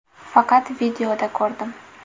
Faqat videoda ko‘rdim.